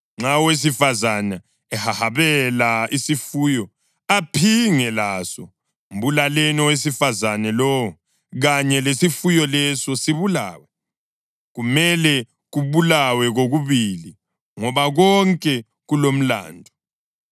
Nxa owesifazane ehahabela isifuyo aphinge laso, mbulaleni owesifazane lowo kanye lesifuyo leso sibulawe. Kumele kubulawe kokubili ngoba konke kulomlandu.